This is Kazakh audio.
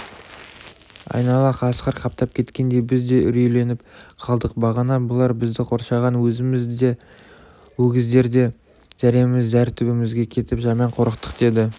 айнала қасқыр қаптап кеткендей біз де үрейленіп қалдық бағана бұлар бізді қоршаған өзіміз де өгіздер де зәреміз зәр түбімізге кетіп жаман қорықтық деді